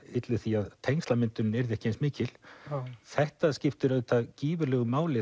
ylli því að tengslamyndun yrði ekki eins mikil þetta skiptir auðvitað gífurlegu máli